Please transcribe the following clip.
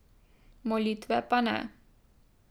Molitve pa ne.